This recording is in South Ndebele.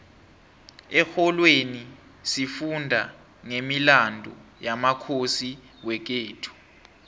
exholweni sifunda nqemilandu yamakhosi wekhethu